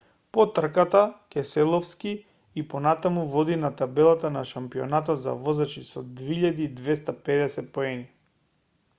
по трката кеселовски и понатаму води на табелата на шампионатот на возачи со 2250 поени